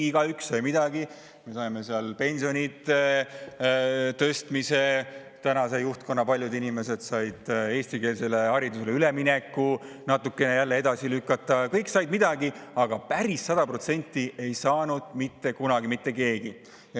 Igaüks sai midagi, me saime pensionide tõstmise, paljud tänase juhtkonna inimesed said eestikeelsele haridusele üleminekut natukene jälle edasi lükata, kõik said midagi, aga päris sada protsenti ei saanud mitte kunagi mitte keegi.